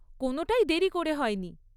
কোনোটাই দেরি করে হয়নি।